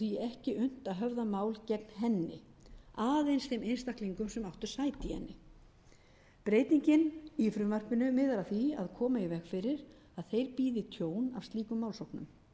því ekki unnt að höfða mál gegn henni aðeins þeim einstaklingum sem áttu sæti í henni breytingin í frumvarpinu miðar að því að koma í veg fyrir að þeir bíði tjón af slíkum málsóknum